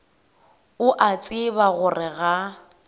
o a tseba gore ga